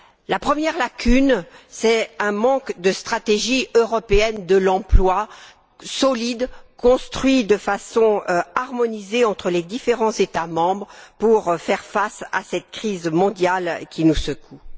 La première lacune tient à l'absence d'une stratégie européenne de l'emploi, solide, construite de façon harmonisée entre les différents États membres, pour faire face à cette crise mondiale qui nous secoue.